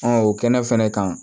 o kɛnɛ fɛnɛ kan